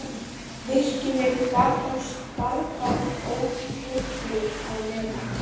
Virkjunin gat þá starfað ótrufluð á meðan.